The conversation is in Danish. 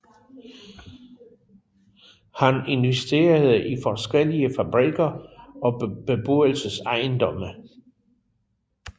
Han investerede i forskellige fabrikker og beboelsesejendomme